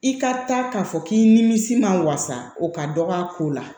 I ka taa k'a fɔ k'i nimisi man wasa o ka dɔgɔ a ko la